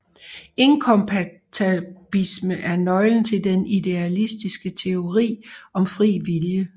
Inkompatibilisme er nøglen til den idealistiske teori om fri vilje